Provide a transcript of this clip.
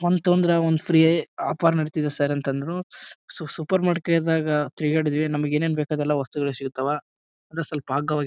ಒಂದ್ ತಗೊಂಡ್ರ ಒಂದ್ ಫ್ರೀ ಆಫರ್ ನಡೀತಿದೆ ಸರ್ ಅಂತ ಅಂದ್ರು ಸೊ ಸೂಪರ್ ಮಾರ್ಕೆಟ್ದಗ ತಿರ್ಗಾಡಿದ್ವಿ ನಮಗೆ ಏನೇನ್ ಬೇಕು ಅದೆಲ್ಲ ವಸ್ತುಗಳು ಸಿಗ್ತಾವ ಅಂದ್ರೆ ಸ್ವಲ್ಪ ಅಗ್ಗವಾಗಿ --